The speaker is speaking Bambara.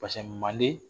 manden